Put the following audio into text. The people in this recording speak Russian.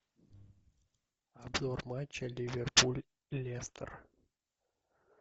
обзор матча ливерпуль лестер